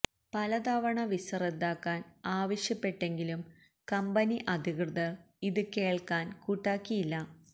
പല തവണ വിസ റദ്ദാക്കാന് ആവശ്യപ്പെട്ടങ്കിലും കമ്പനി അധികൃതര് ഇത് കേള്ക്കാന് കൂട്ടാക്കിയില്ല